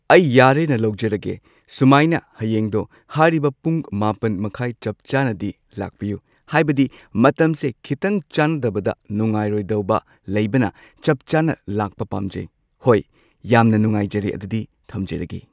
ꯑꯩ ꯌꯥꯔꯦꯅ ꯂꯧꯖꯔꯒꯦ ꯁꯨꯃꯥꯏꯅ ꯍꯌꯦꯡꯗꯣ ꯍꯥꯏꯔꯤꯕ ꯄꯨꯡ ꯃꯥꯄꯟ ꯃꯈꯥꯏ ꯆꯞ ꯆꯥꯅꯗꯤ ꯂꯥꯛꯄꯤꯌꯨ ꯍꯥꯏꯕꯗꯤ ꯃꯇꯝꯁꯦ ꯈꯤꯇꯪ ꯆꯥꯟꯅꯗꯕꯗ ꯅꯨꯉꯥꯢꯔꯣꯏꯗꯕ ꯂꯩꯕꯅ ꯆꯞ ꯆꯥꯅ ꯂꯥꯛꯄ ꯄꯥꯝꯖꯩ꯫ ꯍꯣꯏ ꯌꯥꯝꯅ ꯅꯨꯉꯥꯏꯖꯔꯦ ꯑꯗꯨꯗꯤ ꯊꯝꯖꯔꯒꯦ꯫